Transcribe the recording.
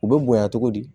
U bɛ bonya togo di